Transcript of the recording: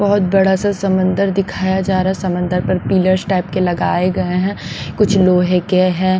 बहुत बड़ा सा समंदर दिखाया जा रहा है समंदर पर पिलर्स टाइप के लगाए गए हैं कुछ लोहे के हैं।